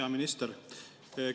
Hea minister!